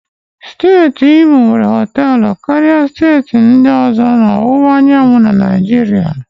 Steeti Imo nwere họtelụ karịa steeti ndị ọzọ na ọwụwa anyanwụ na Naijiria